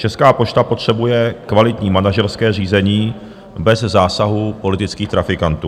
Česká pošta potřebuje kvalitní manažerské řízení bez zásahu politických trafikantů.